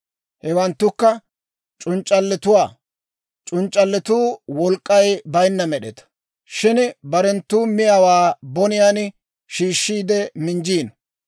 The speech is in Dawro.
Hewanttukka: C'unc'c'alletuwaa, c'unc'c'alletuu wolk'k'ay bayinna med'etaa; shin barenttoo miyaawaa boniyaan shiishshiide, minjjiino.